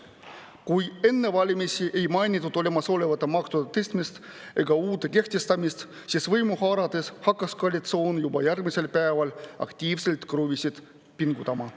Kui enne valimisi ei mainitud olemasolevate maksude tõstmist ega uute kehtestamist, siis võimu haarates hakkas koalitsioon juba järgmisel päeval aktiivselt kruvisid pingutama.